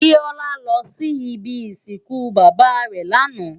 Biola lò si ibi isinkú baba rè làná